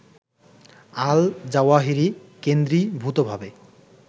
Al Zawahiri কেন্দ্রীভূতভাবে